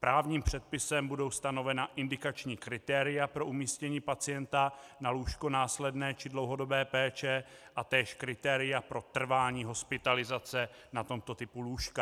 Právním předpisem budou stanovena indikační kritéria pro umístění pacienta na lůžko následné či dlouhodobé péče a též kritéria pro trvání hospitalizace na tomto typu lůžka.